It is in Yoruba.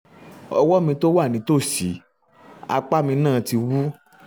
ọwọ́ mi tó wà nítòsí um apá mi náà ti wú